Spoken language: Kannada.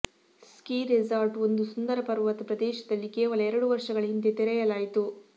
ಸ್ಕೀ ರೆಸಾರ್ಟ್ ಒಂದು ಸುಂದರ ಪರ್ವತ ಪ್ರದೇಶದಲ್ಲಿ ಕೇವಲ ಎರಡು ವರ್ಷಗಳ ಹಿಂದೆ ತೆರೆಯಲಾಯಿತು